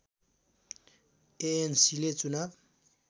एएनसीले चुनाव